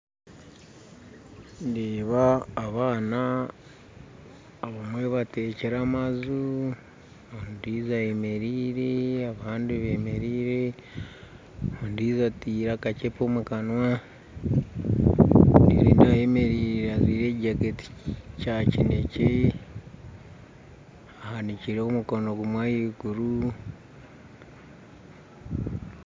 Ndeeba abaana abamwe batekire amaju ondijo ayemereire abandi bemereire ondijo ataire akacepe omukanwa ondijo nindeeba ayemereire ajwaire ekyi jacket Kya kinekye ahanikire omukono gumwe ahaiguru.